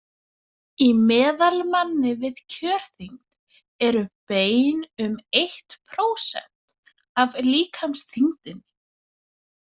Í meðalmanni við kjörþyngd eru bein um eitt prósent af líkamsþyngdinni.